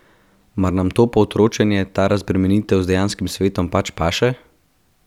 Mar nam to pootročenje, ta razbremenitev z dejanskim svetom pač paše?